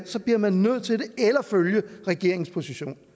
så bliver man nødt til det eller at følge regeringens position